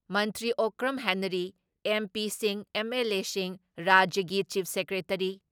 ꯃꯟꯇ꯭ꯔꯤ Okram Henry, ꯑꯦꯝ.ꯄꯤꯁꯤꯡ, ꯑꯦꯝ.ꯑꯦꯜ.ꯑꯦꯁꯤꯡ, ꯔꯥꯖ꯭ꯌꯒꯤ ꯆꯤꯞ ꯁꯦꯀ꯭ꯔꯦꯇꯔꯤ